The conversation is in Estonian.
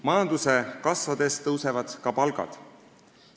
Majanduse kasvades tõusevad ka palgad.